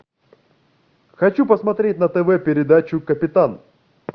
хочу посмотреть на тв передачу капитан